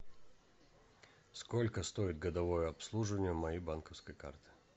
сколько стоит годовое обслуживание моей банковской карты